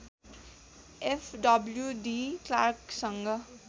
F W D क्लार्कसँग